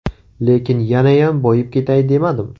Lekin yanayam boyib ketay demadim.